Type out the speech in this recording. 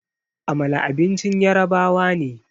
Amala abincin yarabawa ne